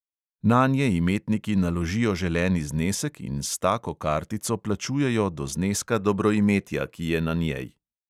Nanje imetniki naložijo želeni znesek in s tako kartico plačujejo do zneska dobroimetja, ki je na njej.